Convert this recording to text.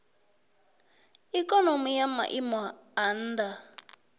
ikonomi ya maiimo a nha